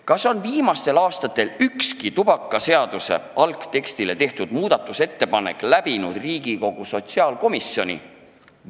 Kas on viimastel aastatel ükski tubakaseaduse algteksti muutmise ettepanek Riigikogu sotsiaalkomisjonis läbi läinud?